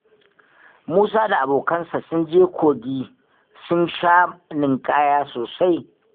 Musa da abokansa sun je kogin sun sha ninƙaya sosai fa